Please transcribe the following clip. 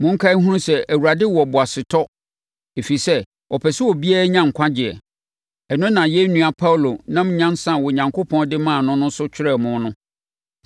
Monkae nhunu sɛ Awurade wɔ boasetɔ ɛfiri sɛ ɔpɛ sɛ obiara nya nkwagyeɛ. Ɛno na yɛn nua Paulo nam nyansa a Onyankopɔn de maa no no so twerɛɛ mo no.